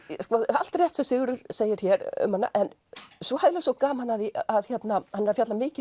allt rétt sem Sigurður segir hér um hana en svo hef ég svo gaman af því að hann er að fjalla mikið